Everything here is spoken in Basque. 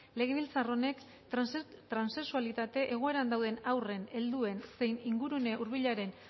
legebiltzar honek transexualitate egoeran dauden haurren helduen zein ingurune hurbilaren